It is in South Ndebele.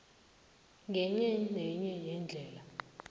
ngenye nenye yeendlela